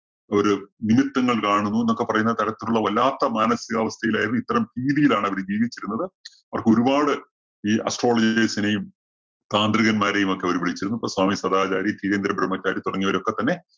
നിമിത്തങ്ങള്‍ കാണുന്നു എന്നൊക്കെ പറയുന്ന തരത്തിലുള്ള വല്ലാത്ത മാനസികാവസ്ഥയിലായിരുന്നു, ഇത്തരം ഭീതിയിലാണവര് ജീവിച്ചിരുന്നത്, അവര്‍ക്ക് ഒരു പാട് ഈ astrologers നെയും, താന്ത്രികന്മാരെയുമൊക്കെ അവര് വിളിച്ചിരുന്നു. സ്വാമി സദാചാരി, കീഴേന്ദ്ര ബ്രഹ്മചാരി തുടങ്ങിയവരൊക്കെ തന്നെ